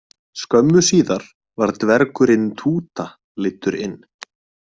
Skömmu síðar var dvergurinn Túta leiddur inn.